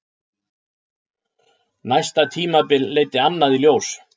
Næsta tímabil leiddi annað í ljós.